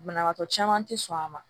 Banabaatɔ caman te sɔn a ma